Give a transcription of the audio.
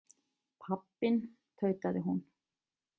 Pabbinn, tautaði hún.